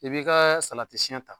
I b'i ka salatisiyɛn ta